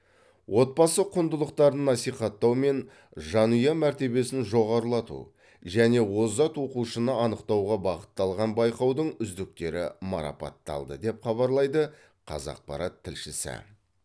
отбасы құндылықтарын насихаттау мен жанұя мәртебесін жоғарылату және озат оқушыны анықтауға бағытталған байқаудың үздіктері марапатталды деп хабарлайды қазақпарат тілшісі